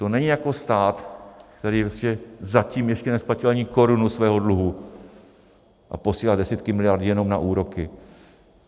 To není jako stát, který zatím ještě nesplatil ani korunu svého dluhu a posílá desítky miliard jenom na úroky.